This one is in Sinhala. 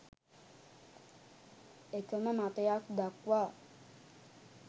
එකම මතයක් දක්වා